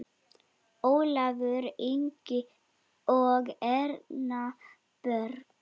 Ólafur Ingi og Erna Björg.